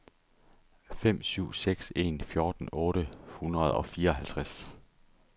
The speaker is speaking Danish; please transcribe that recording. fem syv seks en fjorten otte hundrede og fireoghalvtreds